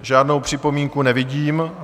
Žádnou připomínku nevidím.